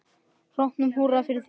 Hrópum húrra fyrir því.